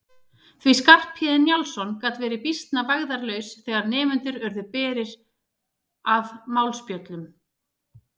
Því að Skarphéðinn Njálsson gat verið býsna vægðarlaus þegar nemendur urðu berir að málspjöllum.